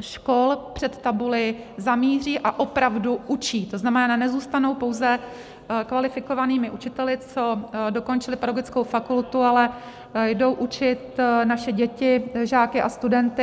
škol před tabuli zamíří a opravdu učí, to znamená, nezůstanou pouze kvalifikovanými učiteli, co dokončili pedagogickou fakultu, ale jdou učit naše děti, žáky a studenty.